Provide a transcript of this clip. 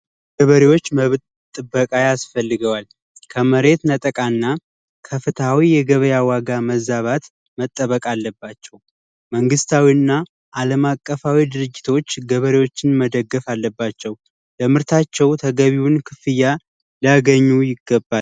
ገበሬዎች መብት ጥበቃ ያስፈልጋቸዋል ከመሬት ነጠቃ እና ከፍትሃዊ የገበያ መዛባት መጠበቅ አለባቸው። መንግስታዊ እና አለማቀፋዊ ድርጅቶች ገበሬዎች መደገፍ አለባቸው። የምርታቸው ተገቢውን ክፍያ ላያገኙ ይገባል።